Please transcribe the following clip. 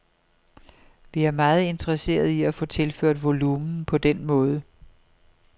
Vi er meget interesseret i at få tilført volumen på den måde.